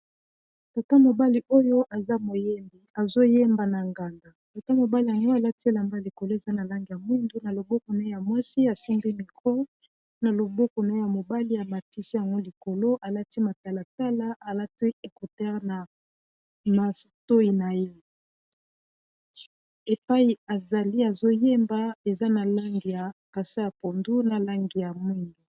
Tata mobali oyo eza moyembi azoyemba na nganda tata mobali yango alati elamba likolo eza na langi ya mwindu na loboko na ye ya mwasi asimbi micro na loboko naye ya mobali ya matisi yango likolo alati matalatala alati ecouteur na matoyi na ye epai azali azoyemba eza na langi ya kasa ya pondu na langi ya mwindu.